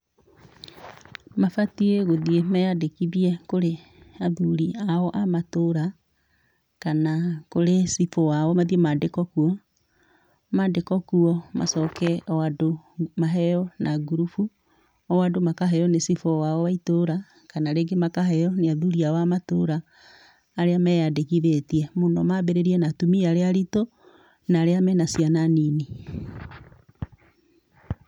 Mabatie gũthiĩ meyandĩkithie kũrĩ athuri ao a matũra kana cibũ wao mathiĩ mandĩkwo kuo, mandĩkwo kuo macoke o andũ maheo na ngurubu o andũ makahepenĩ cibũ wao wa itũũra kana rĩngĩ makaheo nĩ athuri ao a matũũra arĩa meyandĩkithie mũno manjĩrĩirie na atumia arĩa aritũ na arĩa mena ciana nini.